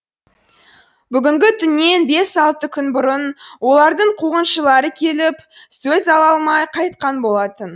бүгінгі түннен бес алты күн бұрын олардың қуғыншылары келіп сөз ала алмай қайтқан болатын